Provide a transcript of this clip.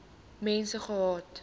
mense gehad